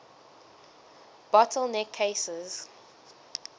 bottle neck cases